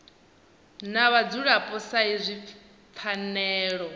na vhadzulapo sa izwi pfanelo